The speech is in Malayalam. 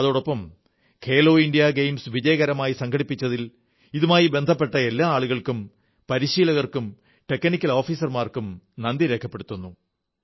അതോടൊപ്പം ഖേലോ ഇന്ത്യാ ഗെയിംസ് വിജയകരമായി സംഘടിപ്പിച്ചതിൽ ഇതുമായി ബന്ധപ്പെട്ട എല്ലാ അളുകൾക്കും പരിശീലകർക്കും ടെക്നിക്കൽ ഓഫീസർമാർക്കും നന്ദി രേഖപ്പെടുത്തുന്നു